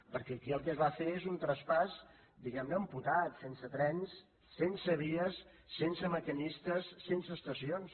perquè aquí el que es va fer és un traspàs diguem ne amputat sense trens sense vies sense maquinistes sense estacions